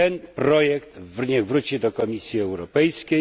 Ten projekt niech wróci do Komisji Europejskiej.